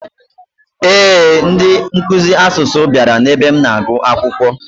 Ee, ndị nkuzi asụsụ bịara n'ebe m na-agwụ akwụkwọ.